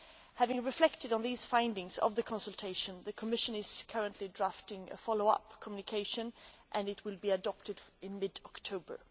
Having reflected on the findings of the consultation, the Commission is currently drafting a follow up communication, and it will be adopted in mid October.